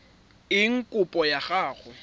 eng kopo ya gago e